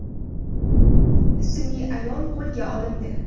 ismli ayol qo‘lga olindi.